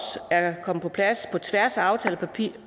er kommet på plads på tværs af aftalepartierne